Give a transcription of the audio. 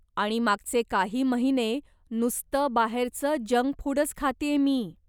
आणि मागचे काही महिने नुसतं बाहेरचं जंक फूडंच खातेय मी.